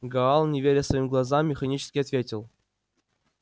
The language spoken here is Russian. гаал не веря своим глазам механически ответил